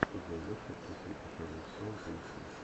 судная ночь с актрисой шэрон стоун поищи